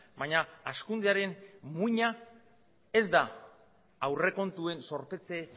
baina hazkundearen muina ez da aurrekontuen zorpetze